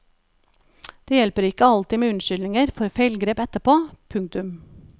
Det hjelper ikke alltid med unnskyldninger for feilgrep etterpå. punktum